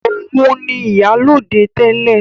Òun ni ìyálóde tẹ́lẹ̀